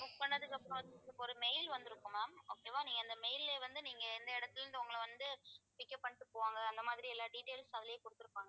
book பண்ணதுக்கு அப்புறம் வந்து ஒரு mail வந்திருக்கும் ma'am okay வா நீங்க அந்த mail லயே வந்து நீங்க எந்த இடத்திலிருந்து உங்களை வந்து pick up பண்ணிட்டு போவாங்க அந்த மாதிரி எல்லா details அதிலேயே கொடுத்திருப்பாங்க